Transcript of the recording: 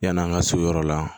Yan'an ka so yɔrɔ la